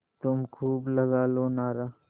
तुम खूब लगा लो नारा